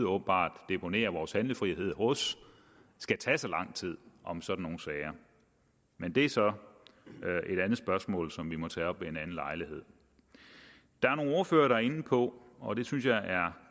åbenbart deponerer vores handlefrihed hos skal tage så lang tid om sådan nogle sager men det er så et andet spørgsmål som vi må tage op ved en anden lejlighed der er nogle ordførere der er inde på og det synes jeg er